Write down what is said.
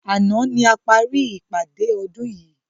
Àná ni a parí ìpàdé ọdún yii